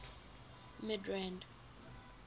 midrand